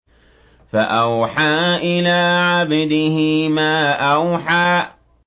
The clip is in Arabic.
فَأَوْحَىٰ إِلَىٰ عَبْدِهِ مَا أَوْحَىٰ